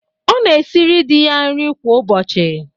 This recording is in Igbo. Ọ na-esiri di ya nri kwa ụbọchị.